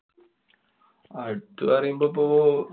അടുത്ത് പറയുമ്പോ പ്പൊ.